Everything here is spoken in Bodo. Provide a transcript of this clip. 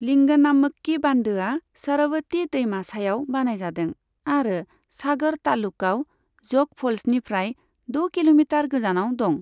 लिंगनामक्की बान्दोआ शरवती दैमा सायाव बानायजादों आरो सागर तालुकआव ज'ग फ'ल्सनिफ्राय द' किल'मिटार गोजानाव दं।